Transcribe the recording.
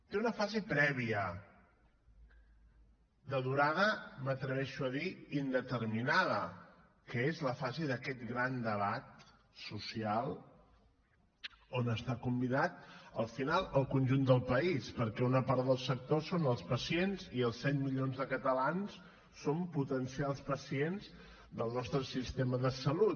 té una fase prèvia de durada m’atreveixo a dir indeterminada que és la fase d’aquest gran debat social on està convidat al final el conjunt del país perquè una part del sector són els pacients i els set milions de catalans som potencials pacients del nostre sistema de salut